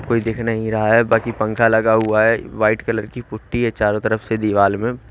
कोई दिख नहीं रहा है बाकी पंख लगा हुआ है व्हाइट कलर की पुट्टी है चारों तरफ से दीवाल में।